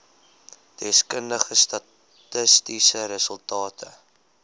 deskundige statistiese resultate